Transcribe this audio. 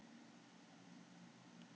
Vía er egg maðkaflugunnar í fiski eða kjöti.